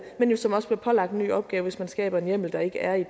men jo som også bliver pålagt en ny opgave hvis man skaber en hjemmel der ikke er i